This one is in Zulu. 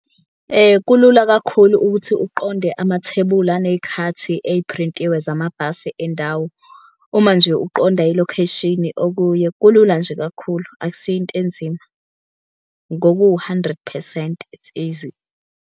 Kulula kakhulu ukuthi uqonde amathebuli aney'khathi eyiphrintiwe zamabhasi endawo. Uma nje uqonda ilokheshini okuye kulula nje kakhulu, akusiyo into enzima ngoku-hundred percent it's easy.